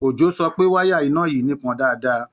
Ojó sọ pé wáyà iná yìí nípọn dáadáa